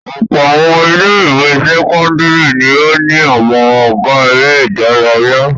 Ọ̀pọ̀ àwọn ilé-ìwé sẹ́kọ́ndárì ni ó ní àwọn ọ̀gá eré-idárayá.